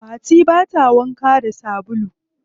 Fati bata wanka da sabulu.